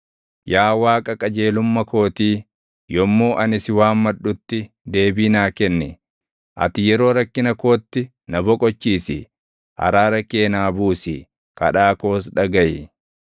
Yaa Waaqa qajeelumma kootii, yommuu ani si waammadhutti deebii naa kenni. Ati yeroo rakkina kootti na boqochiisi; araara kee naa buusi; kadhaa koos dhagaʼi.